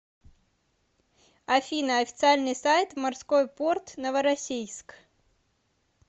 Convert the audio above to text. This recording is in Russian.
афина официальный сайт морской порт новороссийск